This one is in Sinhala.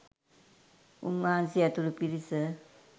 උන්වහන්සේ ඇතුලු පිරිස